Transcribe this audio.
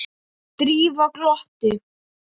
Drífa glotti.